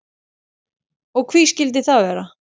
Og hví skildi það vera?